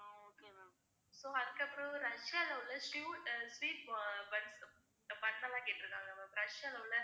so அதுக்கப்புறம் ரஷ்யால உள்ள sweet அஹ் sweet bun bun லாம் கேட்டிருக்காங்க ma'am ரஷ்யால உள்ள